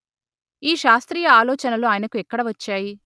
ఈ శాస్త్రీయ ఆలోచనలు ఆయనకు ఎక్కడ వచ్చాయి